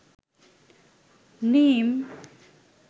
নীম